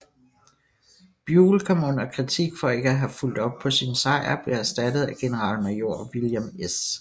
Buell kom under kritik for ikke at have fulgt op på sin sejr og blev erstattet af generalmajor William S